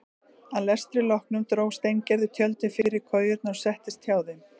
Að lestri loknum dró Steingerður tjöldin fyrir kojurnar og settist hjá þeim.